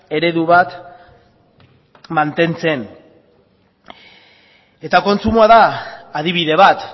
eredu bat mantentzen eta kontsumoa da adibide bat